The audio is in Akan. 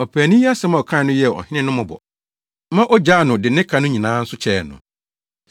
Ɔpaani yi asɛm a ɔkae no yɛɛ ɔhene no mmɔbɔ, ma ogyaa no de ne ka no nyinaa nso kyɛɛ no.